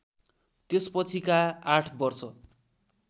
त्यसपछिका ८ वर्ष